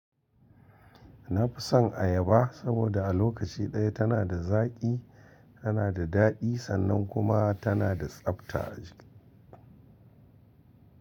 Na fi son ayaba saboda a lokaci ɗaya tana da zaƙi, tana da daɗi sannan kuma tana da tsabta.